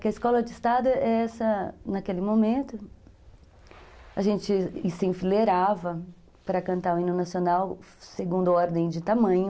Que a escola de estado é essa, naquele momento, a gente se enfileirava para cantar o hino nacional segundo a ordem de tamanho.